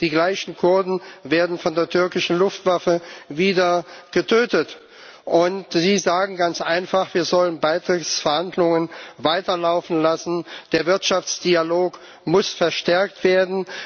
Die gleichen Kurden werden von der türkischen Luftwaffe wieder getötet, und Sie sagen ganz einfach, wir sollen Beitrittsverhandlungen weiterlaufen lassen der Wirtschaftsdialog muss verstärkt werden!